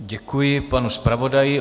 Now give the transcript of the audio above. Děkuji panu zpravodaji.